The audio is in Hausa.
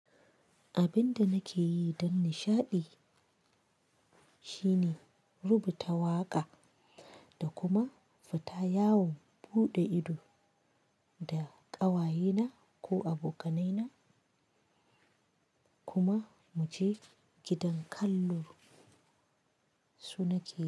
Abin da nake yi don nishaɗi shine rubuta waƙa da kuma fita yawon buɗe ido da ƙawayena ko abokanaina kuma muje gidan kallon su nake yi.